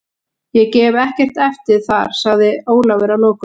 Ég gef ekkert eftir þar, sagði Ólafur að lokum.